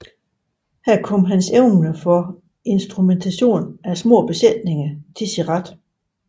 Her kom hans evner for instrumentation af små besætninger til sin ret